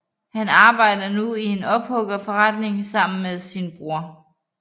Han arbejder nu i en ophuggerforretning sammen med sin bror